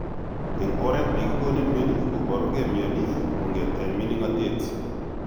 En oret ne kigonin mioni, koporuge mioni kongeten minginotet.